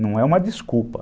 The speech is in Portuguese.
Não é uma desculpa.